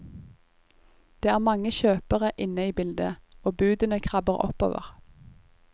Det er mange kjøpere inne i bildet, og budene krabber oppover.